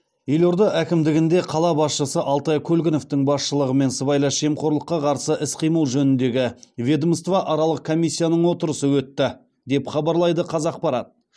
елорда әкімдігінде қала басшысы алтай көлгіновтің басшылығымен сыбайлас жемқорлыққа қарсы іс қимыл жөніндегі ведомствоаралық комиссияның отырысы өтті деп хабарлайды қазақпарат